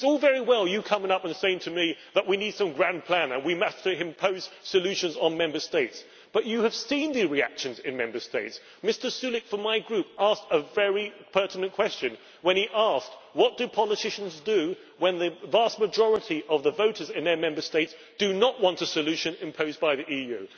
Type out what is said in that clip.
It is all very well you coming up and saying to me that we need some grand plan and we must impose solutions on Member States, but you have seen the reactions in Member States. Mr Sulík from my Group asked a very pertinent question when he asked what do politicians do when the vast majority of the voters in their Member States do not want a solution imposed by the EU?